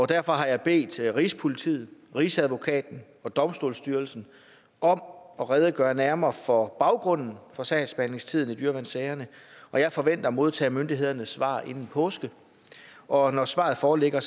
derfor har jeg bedt rigspolitiet rigsadvokaten og domstolsstyrelsen om at redegøre nærmere for baggrunden for sagsbehandlingstiden i dyreværnssager og jeg forventer at modtage myndighedernes svar inden påske og når svaret foreligger